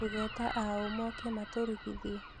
Tũgeta a ũũ moke matũrugithie?